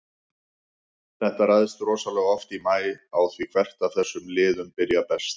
Þetta ræðst rosalega oft í maí á því hvert af þessum liðum byrjar best.